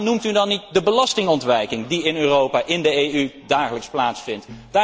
Waarom noemt u dan niet de belastingontwijking, die in Europa, in de EU, dagelijks plaatsvindt?